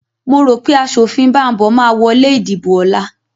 Mo rò pé aṣòfin Bambo máa wọ lé ìdìbò ọ̀la